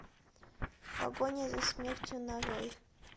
погоня за смертью нарой